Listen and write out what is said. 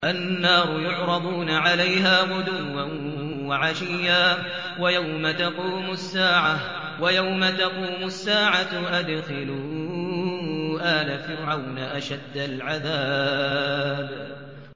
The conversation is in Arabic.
النَّارُ يُعْرَضُونَ عَلَيْهَا غُدُوًّا وَعَشِيًّا ۖ وَيَوْمَ تَقُومُ السَّاعَةُ أَدْخِلُوا آلَ فِرْعَوْنَ أَشَدَّ الْعَذَابِ